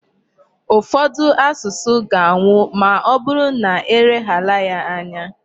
Ufodu asusu ga-anwụ ma ọbụrụ na e leghara ya anya.